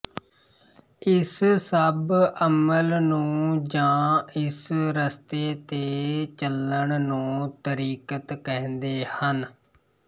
ਇਸ ਸਭ ਅਮਲ ਨੂੰ ਜਾਂ ਇਸ ਰਸਤੇ ਤੇ ਚੱਲਣ ਨੂੰ ਤਰੀਕਤ ਕਹਿੰਦੇ ਹਨ